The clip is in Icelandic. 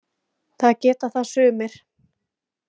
Það geta það sumir.